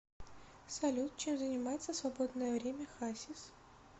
салют чем занимается в свободное время хасис